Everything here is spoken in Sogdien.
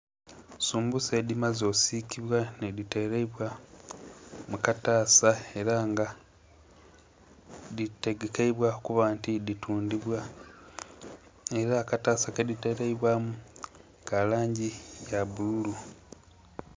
Sumbusa edhimaze osiikibwa nhedhitereibwa mu kataasa ela nga dhitegekeibwa okuba nti dhitundhibwa, ela akataasa kedhiteleibwamu ka langi ya bbululu.